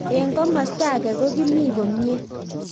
Eng komastaa age ko kimii komie